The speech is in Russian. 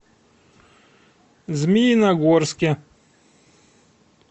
змеиногорске